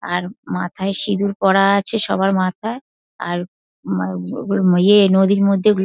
আর মাথায় সিঁদুর পরা আছে সবার মাথায় আর ম-ব ইয়ে নদীর মধ্যে ওগু --